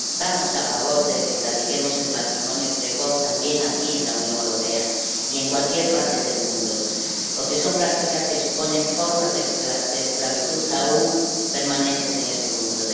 Estamos a favor de la erradicación del matrimonio precoz también aquí, en la Unión Europea, y en cualquier parte del mundo, porque son prácticas que suponen formas de esclavitud que aún persisten en este mundo.